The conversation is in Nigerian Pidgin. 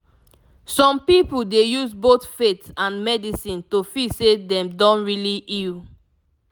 some people dey use both faith and medicine to feel say dem don really heal